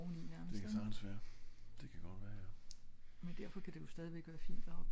Det ka sagtens være det ka godt være jo